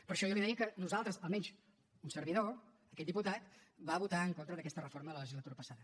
per això jo li deia que nosaltres almenys un servidor aquest diputat va votar en contra d’aquesta reforma la legislatura passada